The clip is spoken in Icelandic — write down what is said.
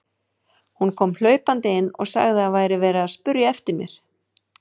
Hún kom hlaupandi inn og sagði að það væri verið að spyrja eftir mér.